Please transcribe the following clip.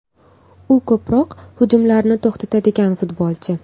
U ko‘proq hujumlarni to‘xtatadigan futbolchi.